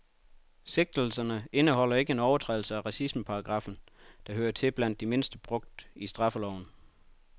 Sigtelserne indeholder ikke en overtrædelse af racismeparagraffen, der hører til blandt de mindst brugte i straffeloven.